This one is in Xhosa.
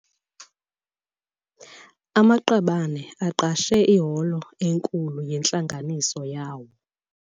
Amaqabane aqeshe iholo enkulu yentlanganiso yawo.